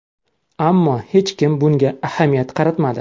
Ammo hech kim bunga ahamiyat qaratmadi.